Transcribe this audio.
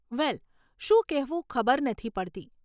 વેલ, શું કહેવું ખબર નથી પડતી.